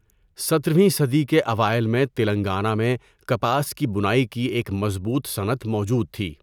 سترھویں صدی کے اوائل میں تلنگانہ میں کپاس کی بُنائی کی ایک مضبوط صنعت موجود تھی۔